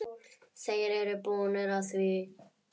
Þeir eru búnir að því.